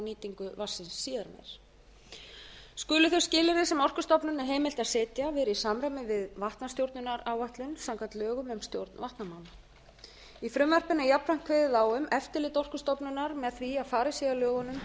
nýtingu vatnsins síðar skulu þau skilyrði sem orkustofnun er heimilt að setja vera í samræmi við vatnastjórnunaráætlun samkvæmt lögum um stjórn vatnamála í frumvarpinu er jafnframt kveðið á um eftirlit orkustofnunar með því að farið sé að lögunum